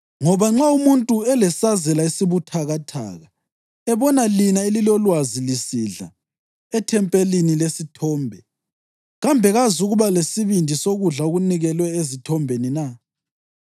Ngoba nxa umuntu olesazela esibuthakathaka ebona lina elilalolulwazi lisidla ethempelini lesithombe, kambe kazukuba lesibindi sokudla okunikelwe ezithombeni na?